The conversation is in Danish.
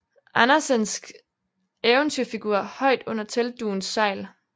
Andersensk eventyrfigur højt under teltdugens sejl